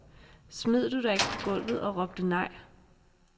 Smed du dig ikke på gulvet og råbte nej?